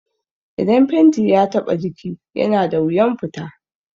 Idan fenti ya taɓa jiki yana da wuyan fita